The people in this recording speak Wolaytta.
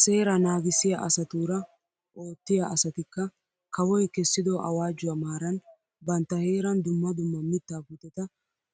Seeraa naagissiyaa asatuura oottiyaa asatikka kawoy kessido awaajjuwaa maaran bantta heeran dumma dumma mittaa puuteta